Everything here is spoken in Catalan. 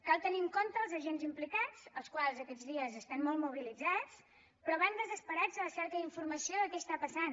cal tenir en compte els agents implicats els quals aquests dies estan molt mobilitzats però van desesperats a la recerca d’informació de què està passant